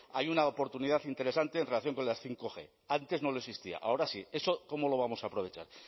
hay una oportunidad interesante en relación con las bostg antes no lo existía ahora sí eso cómo lo vamos a aprovechar